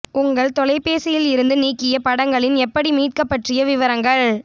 உங்கள் தொலைபேசியில் இருந்து நீக்கிய படங்களின் எப்படி மீட்க பற்றிய விவரங்கள்